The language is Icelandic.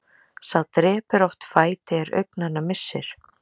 Sá drepur oft fæti er augnanna missir.